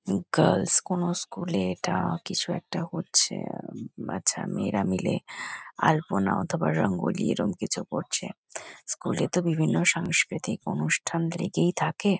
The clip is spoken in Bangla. গার্লস কোন স্কুল এ এটা কিছু একটা হচ্ছে। আহ বাচ্চা মেয়েরা মিলে আলপনা অথবা রাঙ্গোলি এরম কিছু করছে স্কুল এ তো বিভিন্ন সাংস্কৃতিক অনুষ্ঠান লেগেই থাকে।